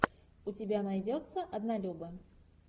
у тебя найдется однолюбы